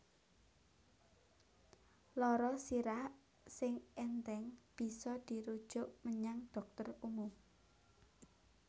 Lara sirah sing ènthèng bisa dirujuk menyang dhokter umum